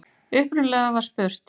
Upprunalega var spurt: